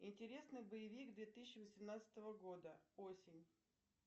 интересный боевик две тысячи восемнадцатого года осень